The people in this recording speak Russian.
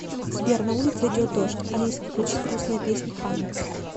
сбер на улице идет дождь алиса включи грустные песни ханы